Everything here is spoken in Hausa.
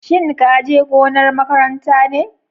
Shin ka je gonar makaranta ne?